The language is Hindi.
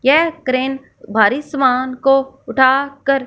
यह क्रेन भारी सामान को उठा कर--